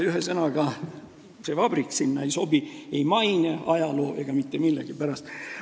Ühesõnaga, see vabrik sinna ei sobi – ei maine, ajaloo ega mitte millegi pärast.